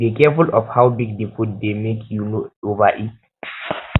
dey careful of how big di food dey make you no overeat